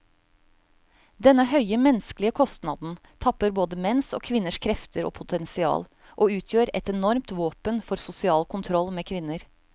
Denne høye menneskelige kostnaden tapper både menns og kvinners krefter og potensial, og utgjør et enormt våpen for sosial kontroll med kvinner.